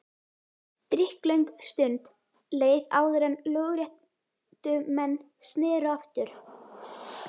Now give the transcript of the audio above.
Drykklöng stund leið áður en lögréttumenn sneru aftur.